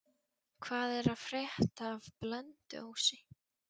Hvað er að frétta af Blönduósi?